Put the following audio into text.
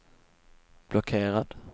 blockerad